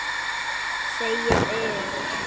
Segið EN.